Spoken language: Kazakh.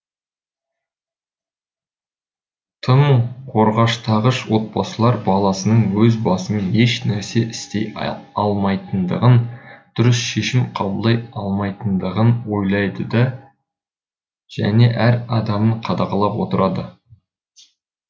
тым қорғаштағыш отбасылар баласының өз басымен ешнәрсе істей алмайтындығын дұрыс шешім қабылдай алмайтындығын ойлайды және әр қадамын қадағалап отырады